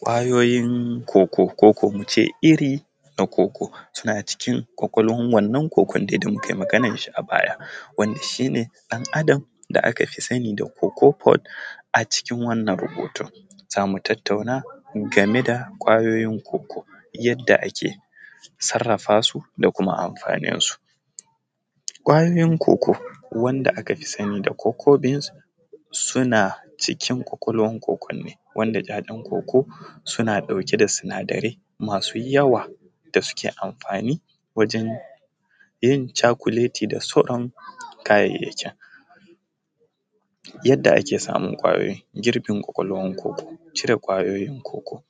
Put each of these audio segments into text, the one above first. Ƙwayoyin cocoa ko ko muce irin cocoa suna cikin kwakwalwar wannan cocoa da muka yi maganar shi a baya wanda shi ne ɗan adam da aka fi sani da cocoa pod, a cikin wannan rahoton zamu tattanau game da ƙwayoyin cocoa yadda ake sarafa su da kuma amfanin su ƙwayoyin cocoa wanda aka fi sani da cocoa beans suna cikin kwakwalwar cocoa ne wanda ‘ya’yan cocoa suna ɗauke da sinadarai masu yawa da suke amfani wajen yin cakuleti da sauran kayayakin, yadda ake samun ƙwayoyin girbin kwakwalwar cocoa cire ƙwayoyin cocoa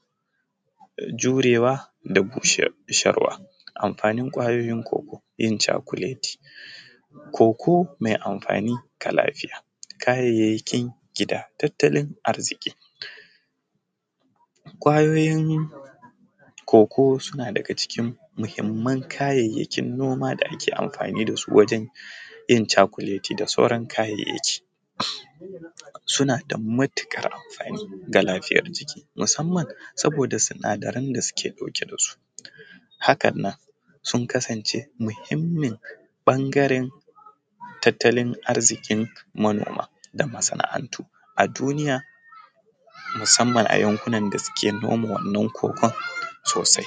jurewa da kuma busarwa amfanin ƙwayoyin cocoa yin cakuleti cocoa mai amfani kala biyar, kayayyakin gida tattalin arziƙi ƙwayoyin cocoa suna daga cikin muhimman kayayyakin noma da ake amfani dasu wajen yin cakuleti da sauran kayayyaki, su na da matuƙar amfani ga lafiyar jiki musamman saboda sinadaren da suke ɗauke da su haka nan sun kasance muhimmin bangaren tattalin arziƙin manoma da masana’antu a duniya musamman a yankuna da suke noma wannan cocoa sosai.